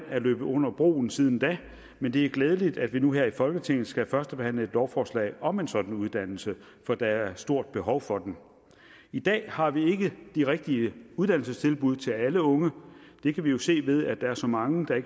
er løbet under broen siden da men det er glædeligt at vi nu her i folketinget skal førstebehandle et lovforslag om en sådan uddannelse for der er et stort behov for den i dag har vi ikke de rigtige uddannelsestilbud til alle unge det kan vi jo se ved at der er så mange der